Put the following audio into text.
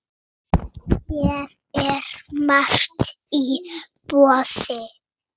Hér er margt í boði.